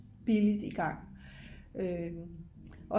billigt i gang